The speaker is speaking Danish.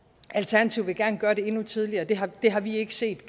at alternativet gerne vil gøre det endnu tidligere det har det har vi ikke set